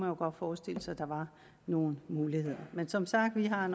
jo godt forestille sig at der var nogle muligheder men som sagt har